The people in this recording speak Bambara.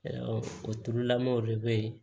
o turulamɔw de bɛ ye